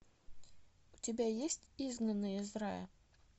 у тебя есть изгнанные из рая